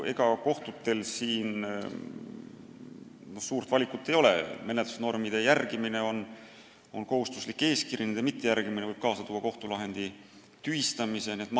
Ega kohtutel suurt valikut ei ole – menetlusnormide järgimine on kohustuslik eeskiri, nende mittejärgimine võib kaasa tuua kohtulahendi tühistamise.